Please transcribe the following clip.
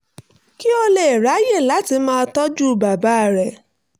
kí ó lè ráyè láti máa tọ́jú bàbá rẹ̀